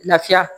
Lafiya